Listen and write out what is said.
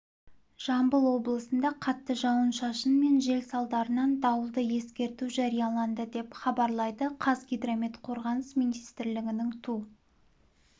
жамбыл облысында қатты жауын-шашын мен жел салдарынан дауылды ескерту жарияланды деп хабарлайды қазгидромет қорғаныс министрлігінің ту